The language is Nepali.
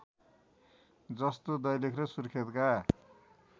जस्तो दैलेख र सुर्खेतका